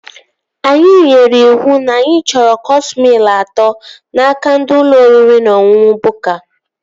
Anyị nyere iwu na anyị chọrọ cọọs mịl atọ n'aka ndị ụlọ oriri na ọṅụṅụ Bukka